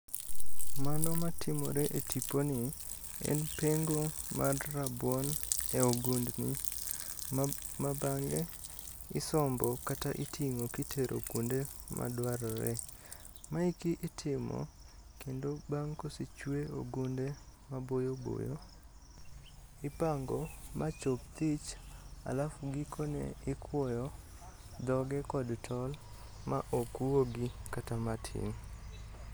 Mano matimore e tiponi en pengo mar rabuon e ogundni ma bang'e isombo kata iting'o kitero kuonde madwarore. Maeki itimo kendo bang' kosechwe ogunde maboyoboyo. Ipango machop thich alafu gikone ikwoyo dhoge kod tol ma ok wuogi kata matin.